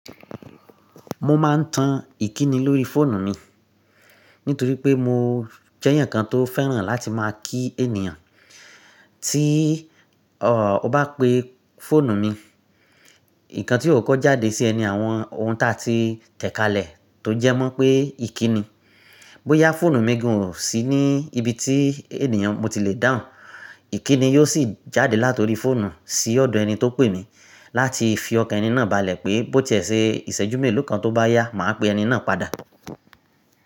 Mo ma n tan ìkíni lórí fóònù mi nítorí pé mo jéèyàn kan tó fẹ́ràn láti máa kí ènìyàn. Tí o bá pe fóònù mi. Nǹkan tí ó kọ́kọ́ jáde sí ẹ ni àwọn ohun táa ti tẹ̀ kalẹ̀ tó jẹ́ mọ́ pé ìkíni. Bóyá fóònù mi gan-an ò sí ní ibi tí ènìyàn mo ti le dáhùn, ìkíni yóò sì jáde látori fóònù sí ọ̀dọ̀ ẹni tó pè mí láti fi ọkàn ẹni náà balẹ̀ pé bó ti ẹ ṣe ìṣẹ́jú mélòó kan tó bá yá, màá pe ẹni náà padà.